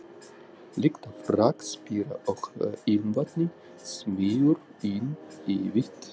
Lykt af rakspíra og ilmvatni smýgur inn í vit